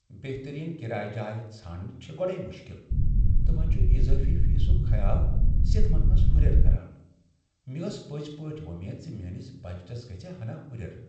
بہترین کرایہ جایہ ژھُانٛڈٕنہِ چھےٚ گۄڈٕیہ مٖشکل، تہٕ وۄنہِ چھٗ اضٲفی فیٖسٗك خیال ستمن منٛز ہرٮ۪ر کران۔ مےٚ ٲس پٕزِ پٲٹھہِ وۄمید ز میٲنِس بجٹس گژھہِ ہنا ہٗریر ۔